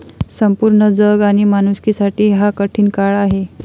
संपूर्ण जग आणि माणुसकीसाठी हा कठीण काळ आहे.